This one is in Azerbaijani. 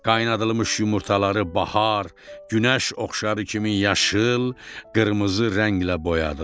Qaynadılmış yumurtaları bahar, günəş oxşarı kimi yaşıl, qırmızı rənglə boyadılar.